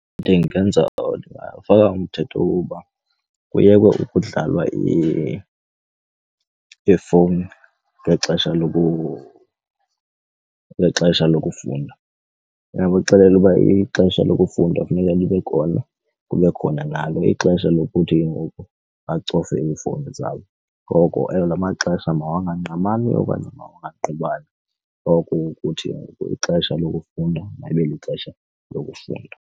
Ndingenza owa mthetho woba kuyekwe ukudlalwa ifowuni ngexesha ngexesha lokufunda. Ndingabaxelela ukuba ixesha lokufunda kufuneka libe khona, kube khona nalo ixesha lokuthi ke ngoku bacofe iifowuni zabo. Ngoko, ewe, la maxesha mawangangqamani okanye mawangangqubani. Oko kukuthi ngoku ixesha lokufunda mayibe lixesha lokufunda.